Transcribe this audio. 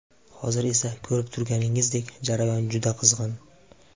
Hozir esa ko‘rib turganingizdek, jarayon juda qizg‘in.